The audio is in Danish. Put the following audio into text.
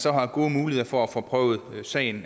så har gode muligheder for at få prøvet sagen